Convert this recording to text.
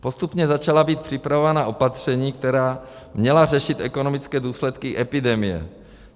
Postupně začala být připravována opatření, která měla řešit ekonomické důsledky epidemie.